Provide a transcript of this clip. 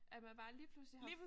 At man bare lige pludselig har